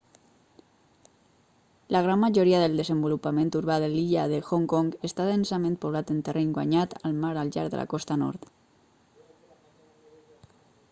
la gran majoria del desenvolupament urbà de l'illa de hong kong està densament poblat en terreny guanyat al mar al llarg de la costa nord